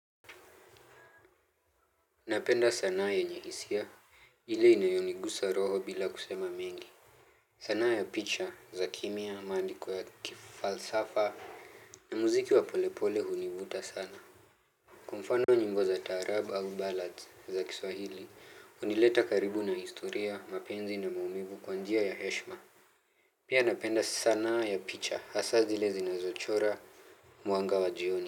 Napenda sanaa yenye hisia, ile inayonigusa roho bila kusema mengi. Sanaa ya picha, za kimya, maandiko ya kifalsafa, na muziki wa polepole hunivuta sana. Kwa mfano nyimbo za taarabu au ballads za kiswahili, hunileta karibu na historia, mapenzi na maumivu kwa njia ya heshima. Pia napenda sanaa ya picha, hasa zile zinazochora, mwanga wa jioni.